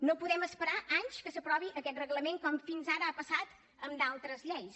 no podem esperar anys perquè s’aprovi aquest reglament com fins ara ha passat amb d’altres lleis